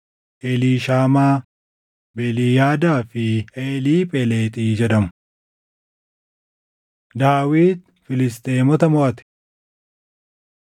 Eliishaamaa, Beeliyaadaa fi Eliiphelexi jedhamu. Daawit Filisxeemota Moʼate 14:8‑17 kwf – 2Sm 5:17‑25